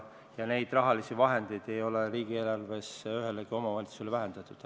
Aga neid rahalisi vahendeid ei ole riigieelarves ühegi omavalitsuse puhul vähendatud.